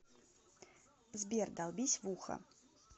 сбер долбись в ухо